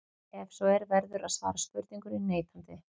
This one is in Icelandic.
Ef svo er verður að svara spurningunni neitandi.